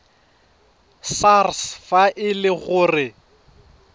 sars fa e le gore